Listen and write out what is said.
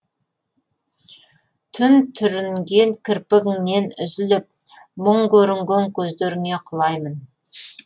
түн түрінген кірпігіңнен үзіліп мұң көрінген көздеріңе құлаймын